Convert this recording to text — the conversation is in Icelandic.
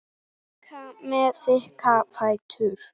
Líka með þykka fætur.